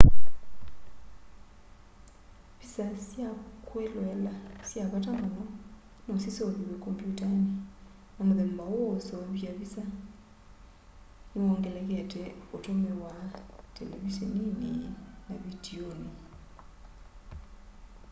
visa sya kwĩloela sya vata mũno no siseuvĩw'e kombyũtanĩ na mũthemba ũũ wa ũseũvya visa nĩwongelekete ũtũmĩwa televiseninĩ na vitiunĩ